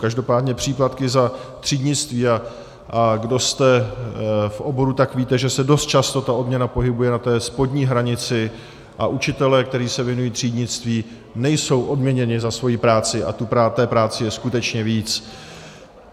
Každopádně příplatky za třídnictví, a kdo jste v oboru, tak víte, že se dost často ta odměna pohybuje na té spodní hranici a učitelé, kteří se věnují třídnictví, nejsou odměněni za svoji práci a té práce je skutečně víc.